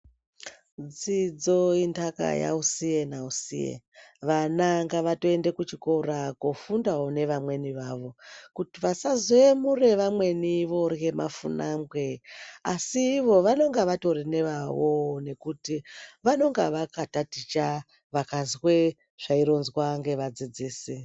Dzidzo indaka yausiye nausiye vana ngavatoenda kuchikora kofundawo nevamweni vawo kuti vasazoyemura vamweni vorye mafunangwe asi iwo vanenge vatorine wawo nekuti vanonga vakataticha vakazwe zvaironzwa nevadzidzisi.